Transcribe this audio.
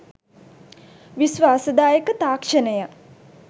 විශ්වාසදායක තාක්ෂණය